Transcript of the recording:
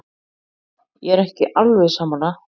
Ég er ekki alveg sammála.